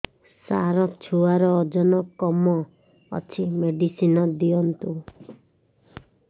ସାର ଛୁଆର ଓଜନ କମ ଅଛି ମେଡିସିନ ଦିଅନ୍ତୁ